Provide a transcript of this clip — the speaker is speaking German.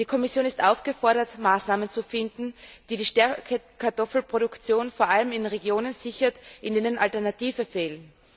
Die Kommission ist aufgefordert, Maßnahmen zu finden, die die Stärkekartoffelproduktion vor allem in Regionen sichert, in denen Alternativen fehlen.